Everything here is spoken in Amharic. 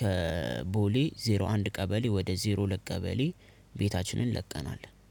ከቦሌ ዜሮ አንድ ቀበሌ ወደ ዜሮ ሁለት ለቀበሌ ቤታችንን ለቀናል።